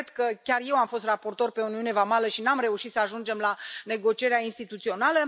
Regret că chiar eu am fost raportor pe uniune vamală și nu am reușit să ajungem la negocierea instituțională.